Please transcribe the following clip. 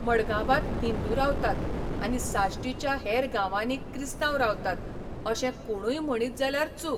मङगांबांत हिंदू रावतात आनी साश्टीच्या हेर गांवांनी क्रिस्तांव रावतात अशें कोणूय म्हणीत जाल्यार चूक.